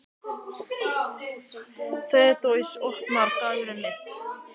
Þeódís, opnaðu dagatalið mitt.